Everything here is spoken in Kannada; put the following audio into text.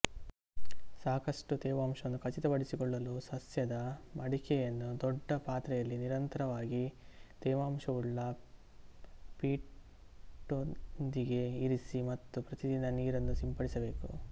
ಸಾಕಷ್ಟು ತೇವಾಂಶವನ್ನು ಖಚಿತಪಡಿಸಿಕೊಳ್ಳಲು ಸಸ್ಯದ ಮಡಕೆಯನ್ನು ದೊಡ್ಡ ಪಾತ್ರೆಯಲ್ಲಿ ನಿರಂತರವಾಗಿ ತೇವಾಂಶವುಳ್ಳ ಪೀಟ್ನೊಂದಿಗೆ ಇರಿಸಿ ಮತ್ತು ಪ್ರತಿದಿನ ನೀರಿನ್ನು ಸಿಂಪಡಿಸಬೇಕು